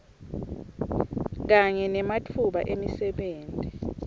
kanye nematfuba emisebenti